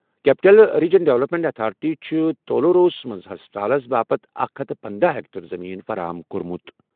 Capital region development authority چھِ تولوروَس منٛز ہسپتالَس باپتھ اکھ ہتھَ پندَہ ایکڑ زٔمیٖن فراہم کٔرمٕژ۔